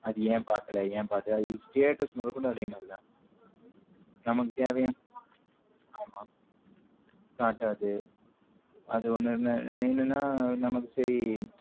அது ஏன் பாக்கல ஏன் பாத்த status மொதொகொண்டு அதே மாரி தான் நம்மக்கு தேவையான ஆமா காட்டது அது ஒன்னு என்னன்னா நம்மக்கு சேரி